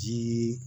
Jii